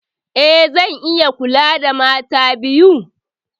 Eh, zan iya kula da mata biyu.